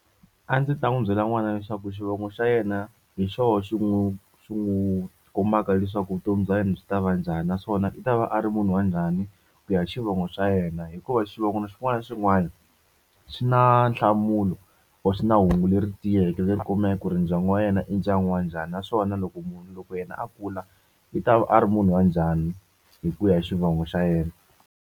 A ndzi ta n'wi byela n'wana leswaku xivongo xa yena hi xona xi n'wi xi n'wi kombaka leswaku vutomi bya yena byi ta va njhani naswona i ta va a ri munhu wa njhani ku ya xivongo xa yena hikuva xivongo xin'wana na xin'wana swi na nhlamulo or swi na hungu leri tiyeke leti kumeka ku ri ndyangu wa yena i ndyangu wa njhani naswona loko munhu loko yena a kula i ta a ri munhu wa njhani hi ku ya hi xivongo xa yena.